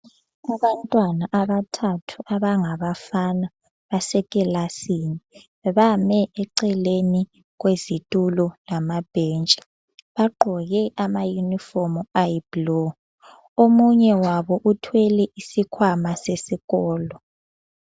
Kulabantwana abathathu abangabafana basekilasini, bame eceleni kwezitulo lamabhentshi bagqoke ama yunifomu ayibhulu omunye wabo uthwele isikhwama sesikolo.